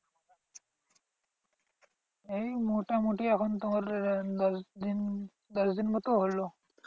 এই মোটামুটি এখন তোমার আহ দশ দিন দশ দিন মতো হলো।